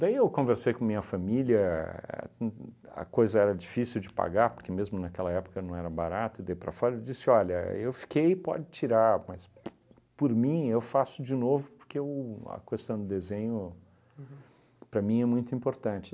Daí eu conversei com a minha família uhn uhn, a coisa era difícil de pagar, porque mesmo naquela época não era barata, e daí para fora e disse, olha, eu fiquei, pode tirar, mas pu por mim eu faço de novo, porque a questão do desenho para mim é muito importante.